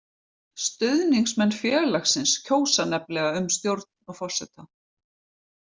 Stuðningsmenn félagsins kjósa nefnilega um stjórn og forseta.